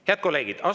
Head kolleegid!